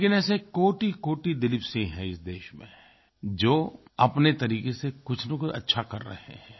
लेकिन ऐसे कोटिकोटि दिलीप सिंह हैं इस देश में जो अपने तरीक़े से कुछनकुछ अच्छा कर रहे हैं